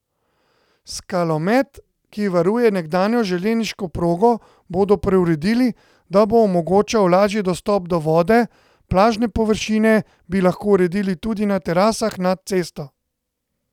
Skalomet, ki varuje nekdanjo železniško progo, bodo preuredili, da bo omogočal lažji dostop do vode, plažne površine bi lahko uredili tudi na terasah nad cesto.